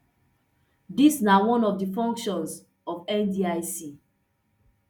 dis na one of di functions of ndic